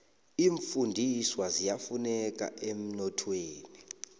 iimfundiswa ziyafuneka emnothweni